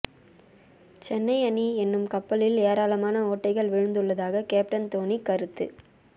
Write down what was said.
சென்னை அணி என்னும் கப்பலில் ஏராளமான ஓட்டைகள் விழுந்துள்ளதாக கேப்டன் தோனி கருத்து